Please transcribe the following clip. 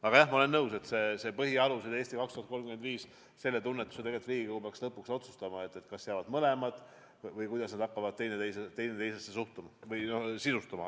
Aga jah, ma olen nõus, et kas põhialused või "Eesti 2035" – Riigikogu peaks lõpuks otsustama, kas jäävad mõlemad või kuidas nad hakkavad teineteisega suhestuma või teineteist sisustama.